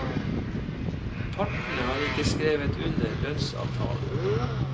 Partene har ikke skrevet under lønnsavtalen.